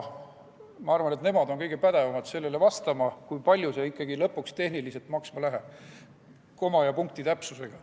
Ma arvan, et nemad on kõige pädevamad vastama, kui palju see ikkagi lõpuks tehniliselt maksma läheb, koma ja punkti täpsusega.